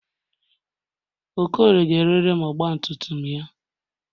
Okorie ga-erere m ọgbatumtum ya.